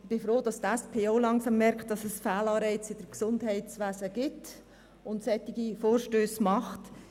Ich bin froh, dass die SP-JUSO-PSA-Fraktion auch langsam merkt, dass es Fehlanreize im Gesundheitswesen gibt und solche Vorstösse macht.